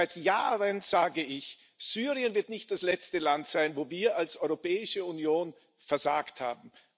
Seit Jahren sage ich Syrien wird nicht das letzte Land sein, wo wir als Europäische Union versagt haben.